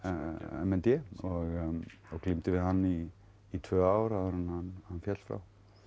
m n d og glímdi við hann í í tvö ár áður en hann féll frá